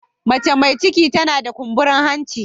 Mace mai ciki tana da kumburin hanci.